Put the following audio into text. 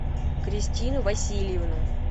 кристину васильевну